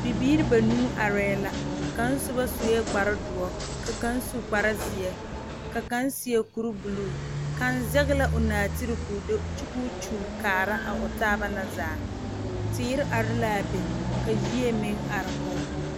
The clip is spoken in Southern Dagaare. Bibiiri banuu arɛɛ la kaŋ soba sue kparedoɔre ka kaŋ su kparezeɛ ka kaŋ seɛ kuribuluu kaŋ zɛge la o nɔɔtere ka o do kyɛ ka o kyulli kaara a o taaba na zaa teere are la a be ka yie meŋ are kɔge